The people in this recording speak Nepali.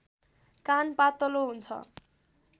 कान पातलो हुन्छ